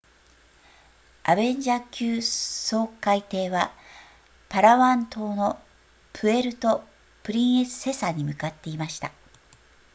アベンジャー級掃海艇はパラワン島のプエルトプリンセサに向かっていました